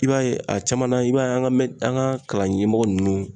I b'a ye ,a caman na i b'a ye an ka an ka kalan ɲɛmɔgɔ nunnu